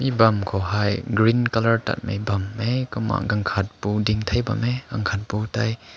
bam kaw hai dianghmei nlai tat mai bam kumma gakhat pu dai.